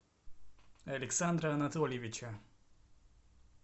александра анатольевича